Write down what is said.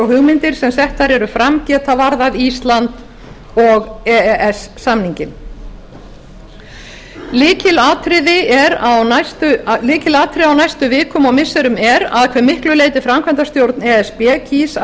hugmyndir sem settar eru fram geta varðað ísland og e e s samninginn lykilatriði á næstu vikum og missirum er að hve miklu leyti framkvæmdastjórn e s b kýs að